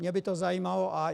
Mě by to zajímalo.